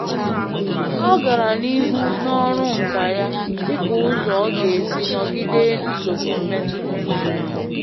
Ọ gara n'ihu n'ọrụ nka ya dị ka ụzọ ọ ga-esi nogide nsogbu mmetụta uche.